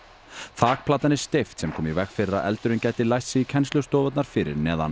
þakplatan er steypt sem kom í veg fyrir að eldurinn gæti læst sig í kennslustofurnar fyrir neðan